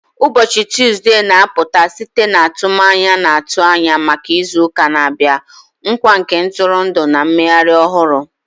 Ụbọchị Tọzdee na-apụta site n'atụmanya na-atụ anya maka izu ụka na-abịa, nkwa nke ntụrụndụ na mmeghari ohuru